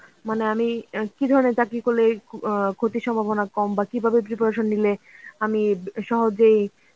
মানে আমি কি ধরনের চাকরি করলে অ্যাঁ ক্ষতির সম্ভাবনা কম বা কিভাবে preparation নিলে আমি সহজেই